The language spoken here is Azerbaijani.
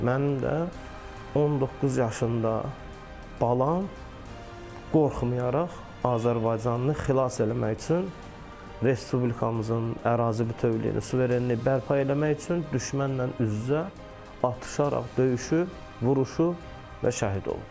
Mənim də 19 yaşında balam qorxmayaraq Azərbaycanını xilas eləmək üçün Respublikamızın ərazi bütövlüyünü, suverenliyi bərpa eləmək üçün düşmənlə üz-üzə atışaraq, döyüşüb, vuruşub və şəhid olub.